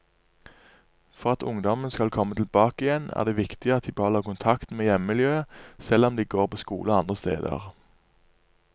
For at ungdommen skal komme tilbake igjen er det viktig at de beholder kontakten med hjemmemiljøet selv om de går på skole andre steder.